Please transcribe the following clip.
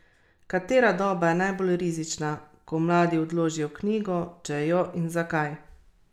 Katera doba je najbolj rizična, ko mladi odložijo knjigo, če jo, in zakaj?